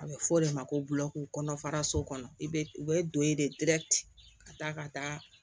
A bɛ fɔ o de ma ko bulaki kɔnɔfaraso kɔnɔ i bɛ u bɛ don e de ka taa ka taa